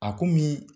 A komi